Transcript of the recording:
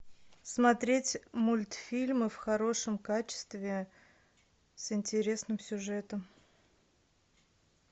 смотреть мультфильмы в хорошем качестве с интересным сюжетом